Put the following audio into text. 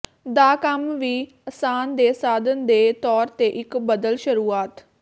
ਦਾ ਕੰਮ ਵੀ ਆਸਾਨ ਦੇ ਸਾਧਨ ਦੇ ਤੌਰ ਤੇ ਇੱਕ ਬਦਲ ਸ਼ੁਰੂਆਤ